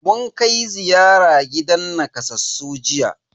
Mun kai ziyara gidan nakasassu jiya.